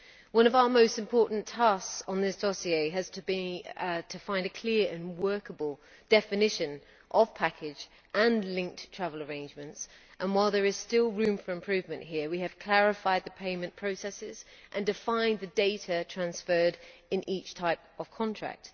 One of our most important tasks on this dossier has to be to find a clear and workable definition of package' and linked travel arrangements', and while there is still room for improvement here, we have clarified the payment processes and defined the data transferred in each type of contract.